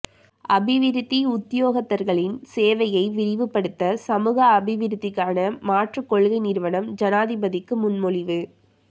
அபிவிருத்தி உத்தியோகத்தர்களின் சேவையை விரிவுபடுத்த சமூக அபிவிருத்திக்கான மாற்றுக் கொள்கை நிறுவனம் ஜனாதிபதிக்கு முன்மொழிவு